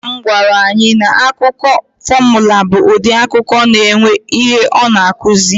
Nnanna m gwara anyị na akụkọ fọmụla bụ ụdị akụkọ na-enwe ihe ọ na-akụzi.